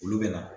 Olu bɛ na